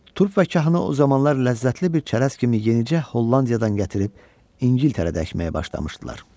Turp və kahanı o zamanlar ləzzətli bir çərəz kimi yenicə Hollandiyadan gətirib İngiltərədə əkməyə başlamışdılar.